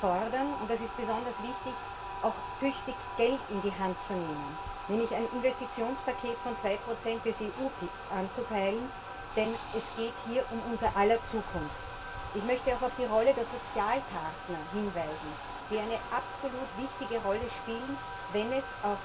Wir fordern und das ist besonders wichtig auch tüchtig Geld in die Hand zu nehmen, nämlich ein Investitionspaket von 2 des EU BIP anzupeilen, denn es geht hier um unser aller Zukunft. Ich möchte auch auf die Rolle der Sozialpartner hinweisen, die eine absolut wichtige Rolle spielen, wenn es